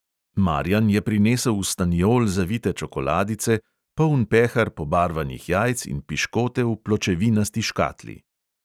Marjan je prinesel v staniol zavite čokoladice, poln pehar pobarvanih jajc in piškote v pločevinasti škatli.